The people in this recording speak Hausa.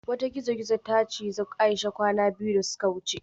Wata gizo-gizo ta cije Aisha kwana biyu da suka wuce